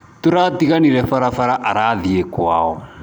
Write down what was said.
Tũratiganĩire barabara arathiĩ kwao.